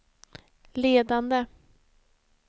ledande